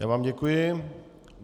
Já vám děkuji.